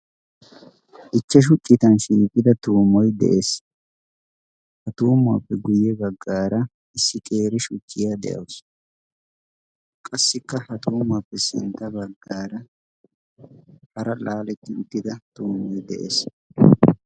Ichchashu citan shiiqida tuumoy de'ees. ha tuumuwaappe guyye baggaara issi qeeri shuchciyaa de'ausu qassikka ha tuumuwaappe sintta baggaara hara laaletti uttida tuumoi de'ees.